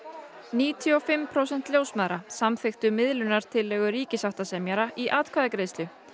níutíu og fimm prósent ljósmæðra samþykktu miðlunartillögu ríkissáttasemjara í atkvæðagreiðslu